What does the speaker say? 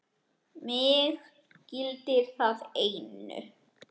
Mig gildir það einu.